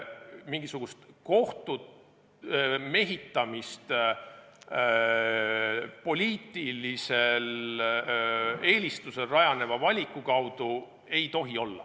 Mingisugust kohtute mehitamist poliitilisel eelistusel rajaneva valiku kaudu ei tohi olla.